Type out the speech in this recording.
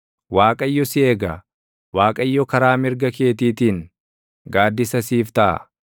Waaqayyo si eega; Waaqayyo karaa mirga keetiitiin gaaddisa siif taʼa;